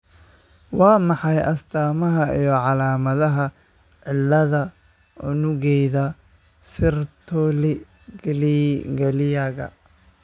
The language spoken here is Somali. Waa maxay astaamaha iyo calaamadaha cillada unugyada Sertoli kaliyaka?